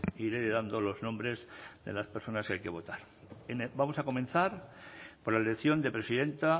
iré dando los nombres de las personas que hay que votar vamos a comenzar por la elección de presidenta